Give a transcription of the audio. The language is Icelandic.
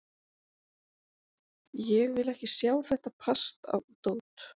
Ég vil ekki sjá þetta pasta og dót.